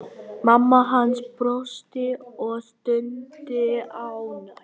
Mamma hans brosti og stundi ánægð.